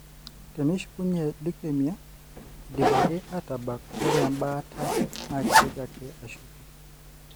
teneshukunyie leukemia indipaki atabak ore ebaata na kitoki ake ashuku.